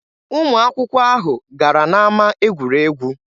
Ụmụ akwụkwọ ahụ gara n'ama egwuregwu.